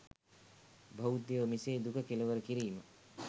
බෞද්ධයෝ මෙසේ දුක කෙළවර කිරීම